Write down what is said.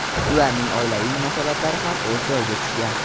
Ularning oilaviy munosabatlari ham o‘z joyiga tushgan.